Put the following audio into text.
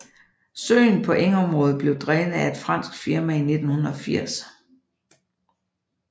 Søen på engområdet blev drænet af et fransk firma i 1980